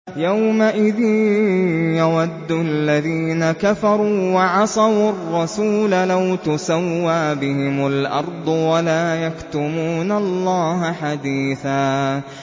يَوْمَئِذٍ يَوَدُّ الَّذِينَ كَفَرُوا وَعَصَوُا الرَّسُولَ لَوْ تُسَوَّىٰ بِهِمُ الْأَرْضُ وَلَا يَكْتُمُونَ اللَّهَ حَدِيثًا